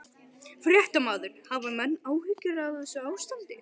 Fréttamaður: Hafa menn áhyggjur af þessu ástandi?